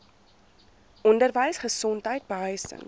onderwys gesondheid behuising